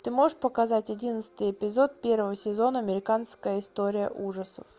ты можешь показать одиннадцатый эпизод первого сезона американская история ужасов